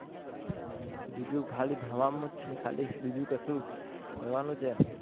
બીજું ખાલી ભણવાનુંજ છે બીજું કસુ કરવાનું છે